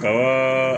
Ka